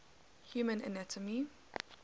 human anatomy